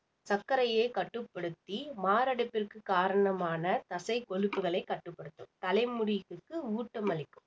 சர்க்கரையை கட்டுப்படுத்தி மாரடைப்பிற்கு காரணமான தசை கொழுப்புகளை கட்டுப்படுத்தும் தலைமுடி உதிர்வுக்கு ஊட்டமளிக்கும்